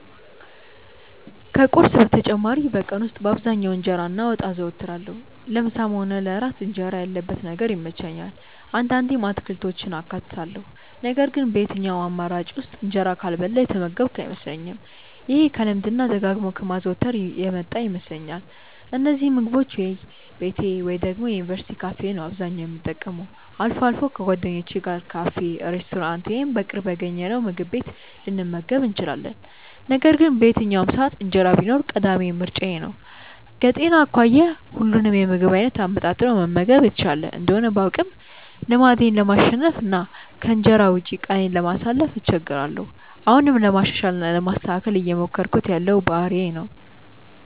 ከቁርስ በተጨማሪ በቀን ውስጥ በአብዛኛው እንጀራ እና ወጥ አዘወትራለሁ። ለምሳም ሆነ ለእራት እንጀራ ያለበት ነገር ይመቸኛል። አንዳንዴም አትክልቶችን አካትታለሁ ነገር ግን በየትኛውም አማራጭ ውስጥ እንጀራ ካልበላሁ የተመገብኩ አይመስለኝም። ይሄ ከልማድ እና ደጋግሞ ከማዘውተር የመጣ ይመስለኛል። እነዚህን ምግቦች ወይ ቤቴ ወይ ደግሞ የዩኒቨርስቲ ካፌ ነው አብዛኛውን የምጠቀመው። አልፎ አልፎ ከጓደኞቼ ጋር ካፌ፣ ሬስቶራንት ወይም በቅርብ ያገኘነውምግብ ቤት ልንመገብ እንችላለን። ነገር ግን በየትኛውም ሰዓት እንጀራ ቢኖር ቀዳሚ ምርጫዬ ነው። ከጤና አኳያ ሁሉንም የምግብ አይነት አመጣጥኖ መመገብ የተሻለ እንደሆነ ባውቅም ልማዴን ለማሸነፍ እና ከእንጀራ ውጪ ቀኔን ለማሳለፍ እቸገራለሁ። አሁንም ለማሻሻል እና ለማስተካከል እየሞከርኩት ያለው ባህሪዬ ነው።